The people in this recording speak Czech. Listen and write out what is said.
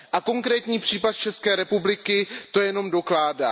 Konkrétní případ z České republiky to jenom dokládá.